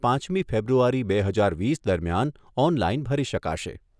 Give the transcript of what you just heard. પાંચમી ફેબ્રુઆરી બે હજાર વીસ દરમિયાન ઓનલાઇન ભરી શકાશે.